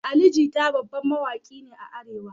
Ali Jita babban mawaki ne a arewa